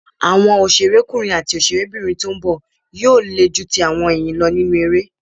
Àwọn òṣèrékùnrin àti òṣèrébìnrin tó ń bọ̀ yóò le ju ti àwọn èyí lọ nínú eré.